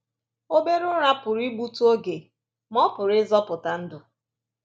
Obere ụra pụrụ igbutụ oge, ma ọ pụrụ ịzọpụta ndụ